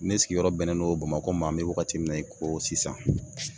Ne sigiyɔrɔ bɛnnen don bamako ma, an be wagati mun na i ko sisan.